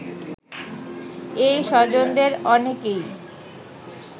এই স্বজনদের অনেকেই